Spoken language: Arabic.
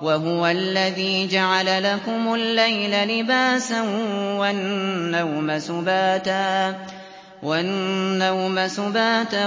وَهُوَ الَّذِي جَعَلَ لَكُمُ اللَّيْلَ لِبَاسًا وَالنَّوْمَ سُبَاتًا